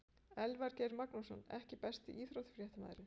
Elvar Geir Magnússon EKKI besti íþróttafréttamaðurinn?